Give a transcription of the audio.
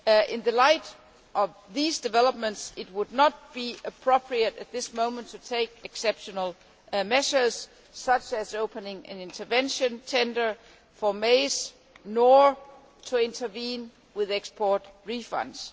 In the light of these developments, it would not be appropriate at this moment to take exceptional measures, such as opening an intervention tender for maize, nor to intervene with export refunds.